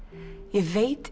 ég veit